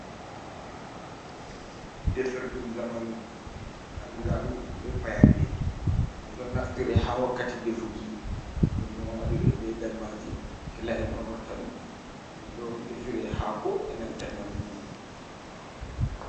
Defirɗum zamanu andira ɗum be payanɗe. Ɗum ɗon naftire ha wakkati defuki, ɗum ɗon waɗira be dalmaji kila’en on watta ɗum. Ɗum ɗon defire haako e'nanta nyamdu.